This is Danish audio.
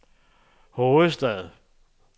hovedstad